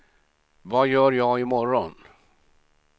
vad gör jag imorgon